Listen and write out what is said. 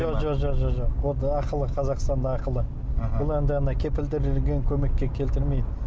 жоқ ақылы қазақстанда ақылы бұл енді ана кепілдендірілген көмекке келтірмейді